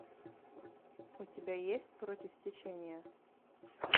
у тебя есть против течения